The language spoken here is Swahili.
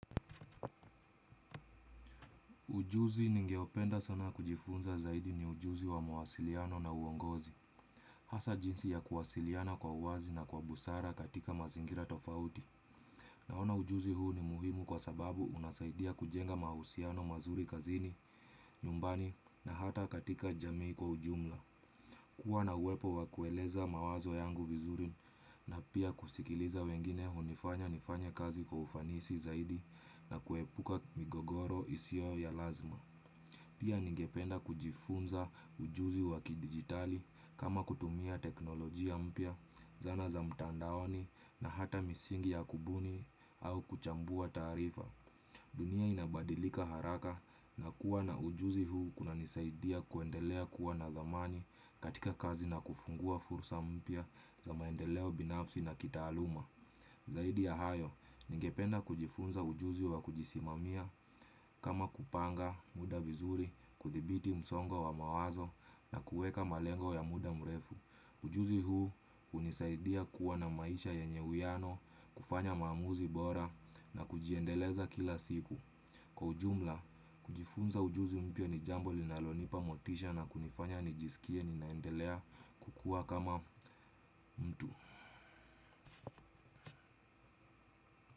Ujuzi ningeopenda sana kujifunza zaidi ni ujuzi wa mawasiliano na uongozi. Hasa jinsi ya kuwasiliana kwa uwazi na kwa busara katika mazingira tofauti. Naona ujuzi huu ni muhimu kwa sababu unasaidia kujenga mahusiano mazuri kazini, nyumbani na hata katika jamii kwa ujumla. Kuwa na uwepo wa kueleza mawazo yangu vizuri na pia kusikiliza wengine hunifanya nifanye kazi kwa ufanisi zaidi na kuepuka migogoro isiyo ya lazima. Pia ningependa kujifunza ujuzi wa kidigitali kama kutumia teknolojia mpya, zana za mtandaoni na hata misingi ya kubuni au kuchambua taarifa. Dunia inabadilika haraka na kuwa na ujuzi huu kuna nisaidia kuendelea kuwa na dhamani katika kazi na kufungua fursa mpya za maendeleo binafsi na kitaaluma. Zaidi ya hayo, ningependa kujifunza ujuzi wa kujisimamia kama kupanga muda vizuri, kudhibiti msongo wa mawazo na kueka malengo ya muda mrefu. Ujuzi huu hunisaidia kuwa na maisha yenye uwiyano, kufanya maamuzi bora na kujiendeleza kila siku. Kwa ujumla, kujifunza ujuzi mpye ni jambo linalonipa motisha na kunifanya nijisikie ninaendelea kukuwa kama mtu.